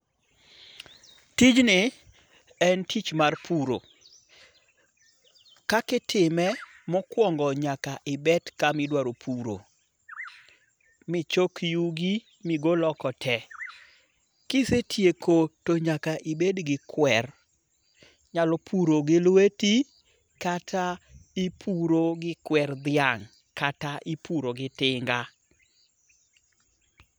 Tijni en tich mar puro, kakitime mokuongo' nyaka ibet kama idwaro puro, michok yugi ma igol oko te, kisetieko to nyaka ibed gi kwer, inyalo puro gi lweti kata ipuro gi kwer thi'ang ' kata ipuro gi tinga'.